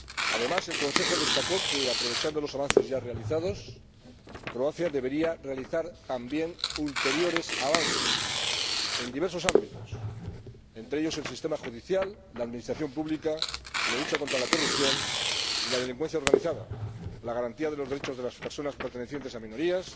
Además, el Consejo destacó que, aprovechando los avances ya realizados, Croacia debería realizar, también, ulteriores avances en diversos ámbitos, entre ellos, el sistema judicial, la administración pública y la lucha contra la corrupción y la delincuencia organizada, así como garantizar los derechos de las personas pertenecientes a minorías,